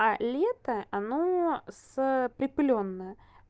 а лето оно с припылённое